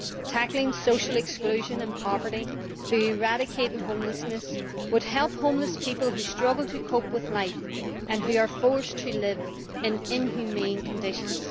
Tackling social exclusion and poverty by eradicating homelessness would help homeless people, who struggle to cope with life and are forced to live in inhumane conditions.